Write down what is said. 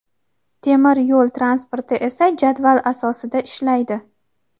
Temir yo‘l transporti esa jadval asosida ishlaydi.